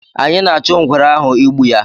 anyị na achụ ngwere ahụ ịgbu ya